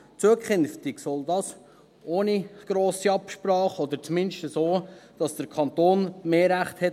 Zukünftig sollen sie ohne grosse Absprache angelegt werden, oder zumindest so, dass der Kanton mehr Rechte hat.